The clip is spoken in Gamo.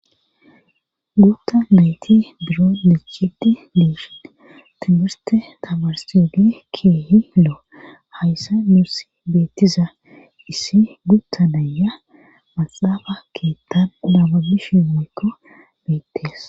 Gutta nayti biro dichiti biishene timbirte tabarsidi keehi loo hayssa nuurs beettiza issi gutta naya maxaafa keettan udama bishi mekko beettees.